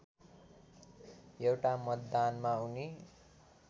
एउटा मतदानमा उनी